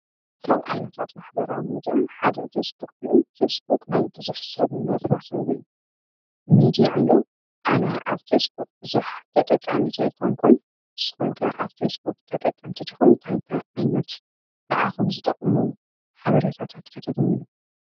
ካብዓይነታት ማኅበራዊ ሚድያ ሓደ ፊስቡክ እዩ፡፡ ፊስቡክ ናይ ብዙሕ ሰብ መራኸዊ ሚድያ እዩ፡፡ ኣነ ኣብ ፌስቡክ ብዙሕ ተጠቃሚት ኣይኮንኩን፡፡ ንስኹም ከ ኣብ ፌስቡክ ተጠቀምተ ዲኹም? እታይታይ እንታይ ዓይነት ንዓኹም ዝጠቕሙ ሓበሬታታት ከ ተግንዩ?